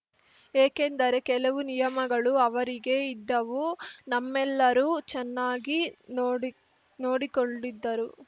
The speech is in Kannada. ಏಕೆಂದರೆ ಕೆಲವು ನಿಯಮಗಳೂ ಅವರಿಗೆ ಇದ್ದವು ನಮ್ಮೆಲ್ಲರೂ ಚೆನ್ನಾಗಿ ನೋಡಿ ನೋಡಿಕೊಂಡಿದ್ದರು